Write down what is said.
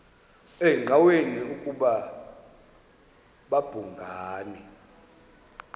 engqanweni ukuba babhungani